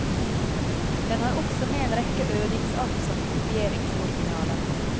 Den har også med en rekke øvingsark som kopieringsoriginaler.